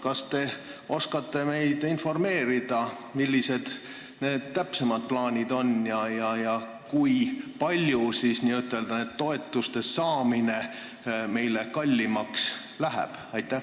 Kas te oskate meid informeerida, millised on täpsemad plaanid – kui palju siis nende toetuste saamine meile kallimaks läheb?